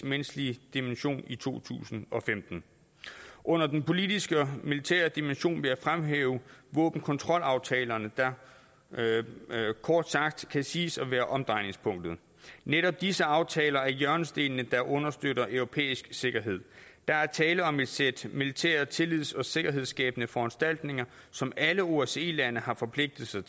menneskelige dimension i to tusind og femten under den politiske og militære dimension vil jeg fremhæve våbenkontrolaftalerne der kort sagt kan siges at være omdrejningspunktet netop disse aftaler er hjørnestenene der understøtter europæisk sikkerhed der er tale om et sæt militære tillids og sikkerhedsskabende foranstaltninger som alle osce lande har forpligtet sig